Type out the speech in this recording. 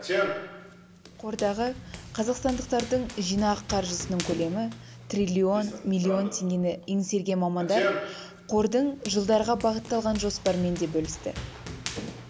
қордағы қазақстандықтардың жинақ қаржысының көлемі триллион миллион теңгені еңсерген мамандар қордың жылдарға бағытталған жоспарымен де бөлісті